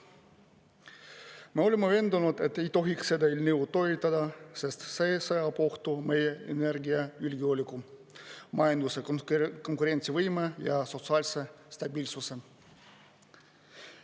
Me oleme veendunud, et ei tohiks seda eelnõu toetada, sest see seab ohtu meie energiajulgeoleku, majanduse konkurentsivõime ja sotsiaalse stabiilsuse.